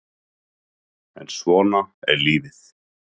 En svona er lífið